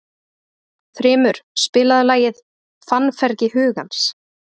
Þrymur, spilaðu lagið „Fannfergi hugans“.